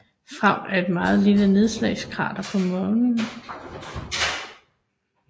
Freud er et meget lille nedslagskrater på Månen